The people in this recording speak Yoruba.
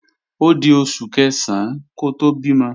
Ódi oṣù Kẹ̀sán kó tó bímọ